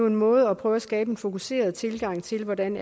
en måde at prøve at skabe en fokuseret tilgang til hvordan